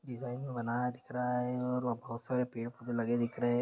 Design में बनाया दिख रहा है और बहोत सारे पेड़ पौधे लगे दिख रहे है।